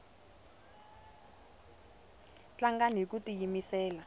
tlangani hiku tiyimisela